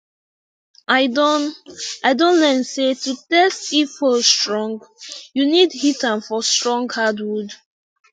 i don i don learn say to test if hoe strong you need hit am for strong hardwood